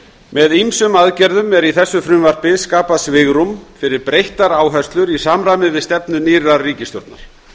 með ýmsum aðgerðum er í þessu frumvarpi skapað svigrúm fyrir breyttar áherslur í samræmi við stefnu nýrrar ríkisstjórnar